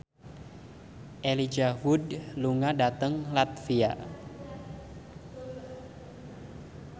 Elijah Wood lunga dhateng latvia